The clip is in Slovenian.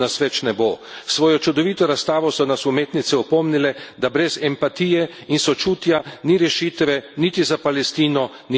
S svojo čudovito razstavo so nas umetnice opomnile, da brez empatije in sočutja ni rešitve niti za Palestino, niti za Izrael.